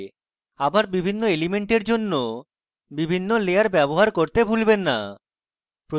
আবার বিভিন্ন elements জন্য বিভিন্ন লেয়ার ব্যবহার করতে ভুলবেন না